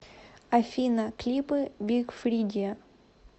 афина клипы биг фридиа